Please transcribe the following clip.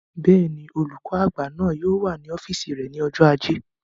Bẹ́ẹ̀ni, olùkọ́ àgbà náà yóò wà ní ọ́fìsì rẹ̀ ní ọjọ́ ajé